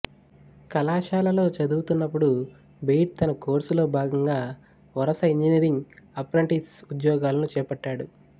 కళాశాలలో చదువుతున్నప్పుడు బెయిర్డ్ తన కోర్సులో భాగంగా వరుస ఇంజనీరింగ్ అప్రెంటిస్ ఉద్యోగాలను చేపట్టాడు